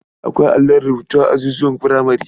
Akwai allon rubutu a azuzuwan furamare.